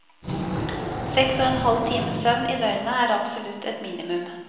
Seks og en halv times søvn i døgnet er absolutt et minimum.